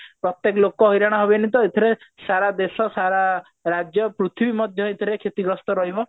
ପ୍ରତୀକ ଲୋକ ହଇରାଣ ହେବେନି ତ ସାରା ଦେଶ ସାରା ରାଜ୍ୟ ପୃଥିବୀ ମଧ୍ୟ ଏଥିରେ କ୍ଷତିଗ୍ରସ୍ତ ରହିବ